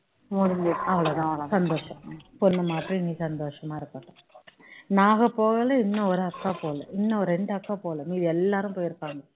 முடிஞ்சிருச்சி சந்தோஷம் பொண்ணும் மாப்பிளையும் இனி சந்தோஷமா இருப்பாங்க நாங்க போகல இன்னும் ஒரு அக்கா போகல இன்னும் இரண்டு அக்கா போகல மீதி எல்லாரும் போயிருக்காங்க